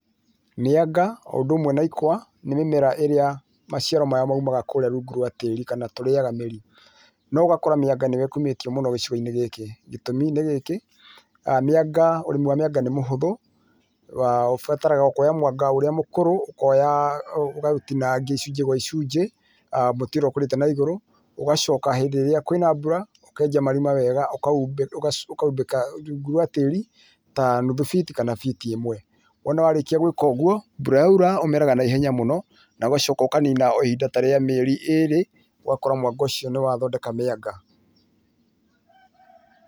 Mĩanga o ũndũ ũmwe na ikwa nĩ mĩmera ĩrĩa maciaro marĩa moimaga kũrĩa rungu rwa tĩĩri kana tũrĩaga mĩri no ũgakora mĩanga nĩyo ĩkumĩtio mũno gicigoinĩ gĩkĩ gĩtũmi nĩ gĩki, mĩanga ũrĩmi wa mĩanga nĩ mũhũthũ, ũbataraga o kuoya mwanga ũrĩa mũkũrũ ũkoya ũkaũtinagia icunjĩ gwa icunjĩ mũtĩ ũrĩa ũkũrĩte naigũrũ, ũgacoka hĩndĩ ĩrĩa kwĩna mbura ũkenja marima wega ũkaumbĩka rungu rwa tĩĩri ta nuthu fiti kana fiti ĩmwe. Wona warĩkia gwĩka ũguo mbura yoira ũmeraga naihenya mũno na ũgacoka ũkanina o ihinda ta rĩa mĩeri ĩrĩ ũgakora mwanga ũcio nĩwathondeka mĩanga.